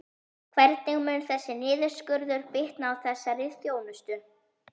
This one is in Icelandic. Hvernig mun þessi niðurskurður bitna á þessari þjónustu?